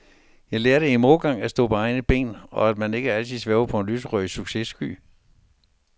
Jeg lærte i modgangen at stå på egne ben, og at man ikke altid svæver på en lyserød successky.